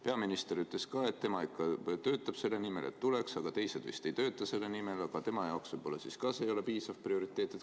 Peaminister ütles, et tema ikka töötab selle nimel, et tuleks, aga teised vist ei tööta, võib-olla tema jaoks pole ka see piisav prioriteet.